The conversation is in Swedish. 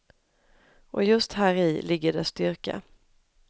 Och just häri ligger dess styrka.